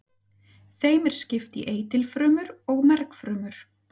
Þeim er skipt í eitilfrumur og mergfrumur.